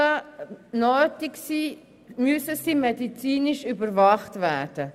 Falls Fixierungen wie Anketten nötig sind, müssen sie medizinisch überwacht werden.